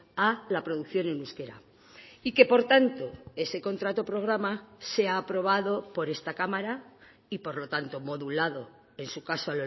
a la producción en euskera y que por tanto ese contrato programa sea aprobado por esta cámara y por lo tanto modulado en su caso